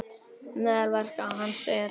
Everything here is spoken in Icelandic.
Meðal verka hans eru